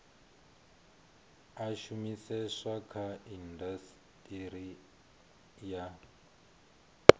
a shumiseswa kha indasiteri ya